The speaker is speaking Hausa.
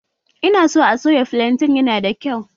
Ina san a soya filaten na da kyau